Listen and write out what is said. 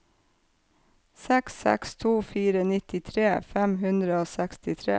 seks seks to fire nittitre fem hundre og sekstitre